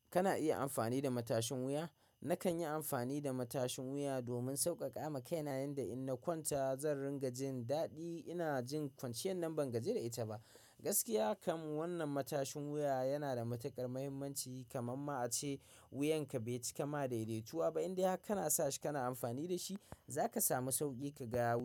Kana iya amfani da matashin wuya? Nakan yi amfani da matashin wuya domin sauƙaƙa ma kai na yanda in na kwanta zan dinga jin daɗi ina jin kwanciyar nan bangaji da ita ba. Gaskiya kam wannan matashin wuya yana da matuƙar mahimmanci kama ma a ce wuyanka bai cika ma daidaituwa ba, inda har kana sa shi kana amfani da shi za ka samu sauƙi ka ga,